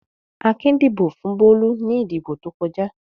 Akin dìbò fún Bólú ní ìdìbò tó kọjá.